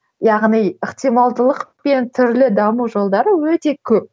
яғни ықтималдылық пен түрлі даму жолдары өте көп